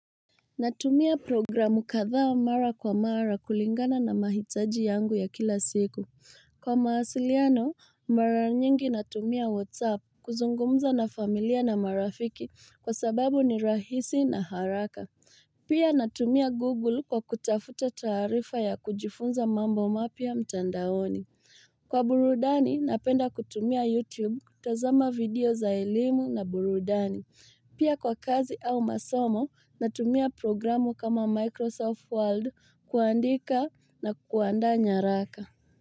Natumia programu kadhaa mara kwa mara kulingana na mahitaji yangu ya kila siku. Kwa mawasiliano, mara nyingi natumia WhatsApp kuzungumza na familia na marafiki kwa sababu ni rahisi na haraka. Pia natumia Google kwa kutafuta taarifa ya kujifunza mambo mapya mtandaoni. Kwa burudani, napenda kutumia YouTube, tazama video za elimu na burudani. Pia kwa kazi au masomo natumia programu kama Microsoft Word kuandika na kuandaa nyaraka.